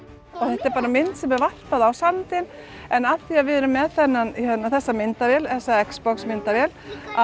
þetta er mynd sem er varpað á sandinn en af því að við erum með þessa myndavél þessa myndavél